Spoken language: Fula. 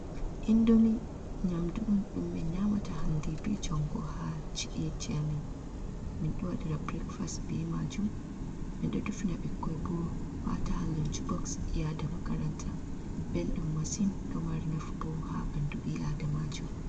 Indomi nyaamdu on ɗum min nyaamata hannde bee janngo haa ci'eeji amin. Min ɗo waɗira burekfas bee maajum, min ɗo defina bikkoy boo wa'ata haa loncboks yaada makaranta, belɗum masin ɗo mari nafu boo haa ɓanndu ɓii aadamajo.